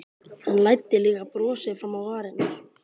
Hann læddi líka brosi fram á varirnar.